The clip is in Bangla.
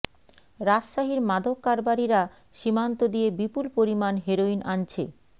রাজশাহীর মাদক কারবারিরা সীমান্ত দিয়ে বিপুল পরিমাণ হেরোইন আনছে